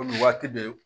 Komi waati bɛ